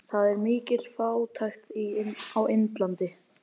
Það er mikil fátækt á Indlandi.